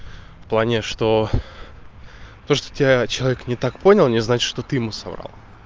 в плане что то что тебя человек не так понял не значит что ты ему соврал